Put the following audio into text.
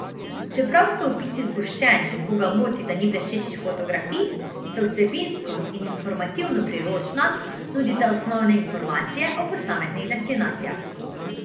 Čeprav so opisi zgoščeni in koga moti, da ni bleščečih fotografij, sta vsebinsko in informativno priročna, nudita osnovne informacije o posameznih destinacijah.